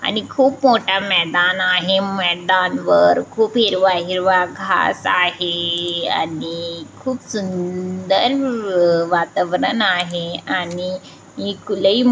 आणि खुप मोठा मैदान आहे मैदानवर खूप हिरवा-हिरवा घास आहे आणि खुप सुंदर वातावरण आहे आणि इक लय--